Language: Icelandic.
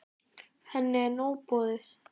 Henni er nóg boðið.